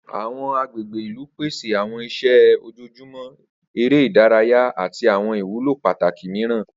Awọn agbegbe ilu pese awọn iṣẹ ojoojumọ, ere idaraya ati awọn iwulo pataki miiran.